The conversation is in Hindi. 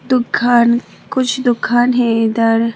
दुकान कुछ दुकान है इधर।